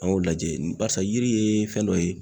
An y'o lajɛ barisa yiri ye fɛn dɔ ye